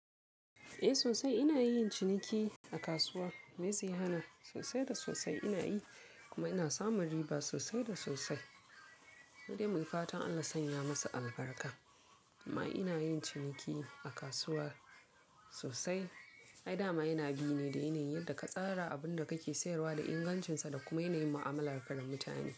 Eh sosai ina yin ciniki a kasuwa. Meye zai hana? Sosai da sosai ina yi kuma ina samun riba sosai da sosai. Mudai muy fatan Allah ya sanya masa albarka. Amma ina yin ciniki a kasuwa sosai. Ai dama yana bi ne da yanayin yadda ka tsara abin da kake sayarwa da ingancinsa da kuma yanayin mu'amala ka da mutane.